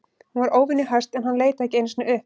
Hún var óvenju höst en hann leit ekki einu sinni upp.